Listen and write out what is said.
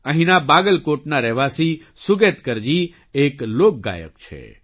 અંહીના બગલકોટના રહેવાસી સુગેતકરજી એક લોકગયક છે